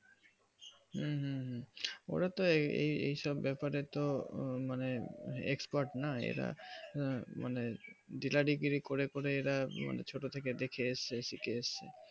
হুম হুম হুম ওদের তো এই সব ব্যাপারে তো মানে expert না এরা হুম মানে ডিলারি গিরি করে করে ারা ছোট থেকে দেখে এসেছে শিখে এসেছে